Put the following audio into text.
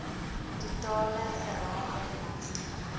totale geraamde belasting